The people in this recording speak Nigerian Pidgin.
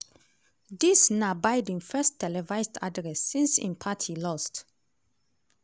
dis na biden first televised address since im party lost.